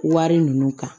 Wari ninnu kan